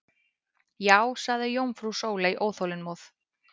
Já sagði jómfrú Sóley óþolinmóð.